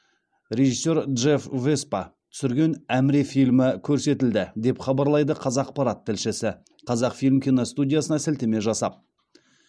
режиссер джефф веспа түсірген әміре фильмі көрсетілді деп хабарлайды қазақпарат тілшісі қазақфильм киностудиясына сілтеме жасап